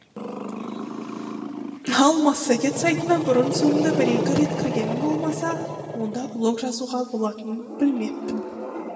ал массагет сайтына бұрын соңды бір екі рет кіргенім болмаса онда блог жазуға болатынын білмеппін